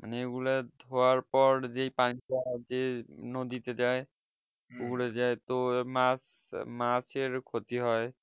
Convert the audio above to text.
মানে এগুলা ধুয়ার পর যে পানিটা যে নদীতে যাই পুকুর এ যাই তো মাছ মাছের ক্ষতি হয়